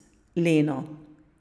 Leno.